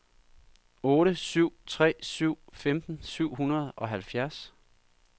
otte syv tre syv femten syv hundrede og halvfjerds